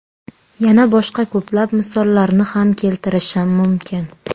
Yana boshqa ko‘plab misollarni ham keltirishim mumkin.